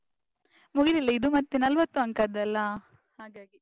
ಮುಗಿಲಿಲ್ಲ. ಇದು ಮತ್ತೆ ನಲ್ವತ್ತು ಅಂಕದ್ದಲ್ಲಾ ಹಾಗಾಗಿ.